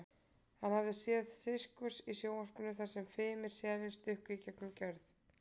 Hann hafði séð sirkus í sjónvarpinu þar sem fimir selir stukku í gegnum gjörð.